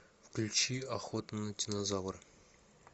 включи охота на динозавра